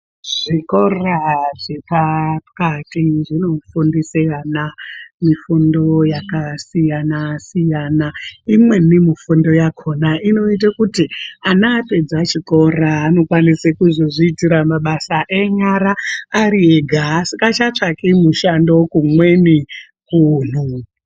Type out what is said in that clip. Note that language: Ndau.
Zvikora zve pakati zvino fundisa ana mufundo yaka siyana imweni mufundo yakona inoote kuti ana apedza chikora ano kwanisa kuzo zviitira mabasa enyara ari ega asingacha tsvaki mushando kumweni kunhu.